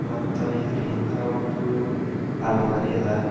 ಮತ್ತ ಇದ್ರ್ ಹಿಂದ ಒಂದು ಅಲ್ಮಾರಿ ಅದ--